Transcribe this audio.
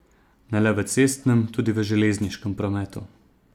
Ne le v cestnem, tudi v železniškem prometu.